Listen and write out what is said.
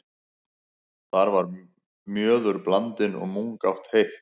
Þar var mjöður blandinn og mungát heitt.